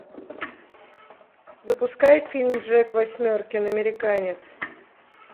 запускай фильм джек восьмеркин американец